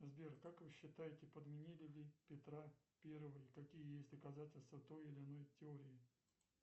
сбер как вы считаете подменили ли петра первого и какие есть доказательства той или иной теории